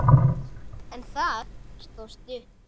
En það stóð stutt.